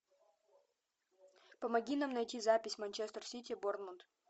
помоги нам найти запись манчестер сити борнмут